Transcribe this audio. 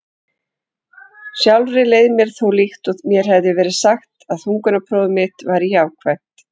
Sjálfri leið mér þó líkt og mér hefði verið sagt að þungunarpróf mitt væri jákvætt.